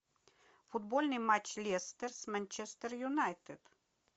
футбольный матч лестер с манчестер юнайтед